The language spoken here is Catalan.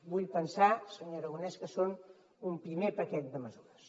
vull pensar senyor aragonès que són un primer paquet de mesures